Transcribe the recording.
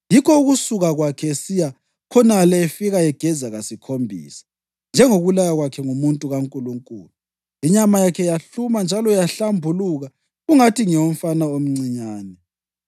Yikho ukusuka kwakhe esiya khonale efika egeza kasikhombisa, njengokulaywa kwakhe ngumuntu kaNkulunkulu, inyama yakhe yahluma njalo yahlambuluka kungathi ngeyomfana omncinyane.